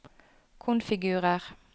konfigurer